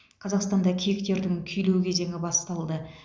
қазақстанда киіктердің күйлеу кезеңі басталды